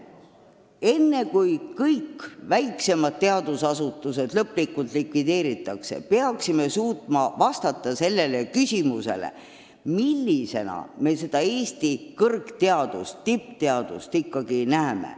Enne kui kõik väiksemad teadusasutused lõplikult likvideeritakse, peaksime suutma vastata küsimusele, millisena me Eesti tippteadust ikkagi näeme.